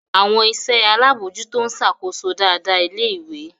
Àwọn iṣẹ́ alábòójútó ń ṣàkóso dáadáa ilé-ìwé.